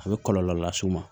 A bɛ kɔlɔlɔ las'u ma